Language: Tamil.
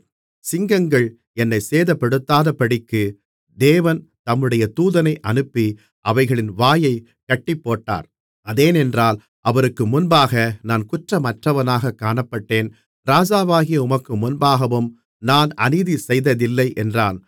சிங்கங்கள் என்னைச் சேதப்படுத்தாதபடிக்குத் தேவன் தம்முடைய தூதனை அனுப்பி அவைகளின் வாயைக் கட்டிப்போட்டார் அதேனென்றால் அவருக்கு முன்பாக நான் குற்றமற்றவனாகக் காணப்பட்டேன் ராஜாவாகிய உமக்கு முன்பாகவும் நான் அநீதி செய்ததில்லை என்றான்